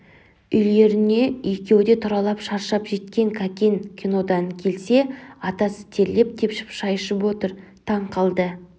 үйлеріне екеуі де тұралап шаршап жеткен кәкен кинодан келсе атасы терлеп-тепшіп шай ішіп отыр таң қалды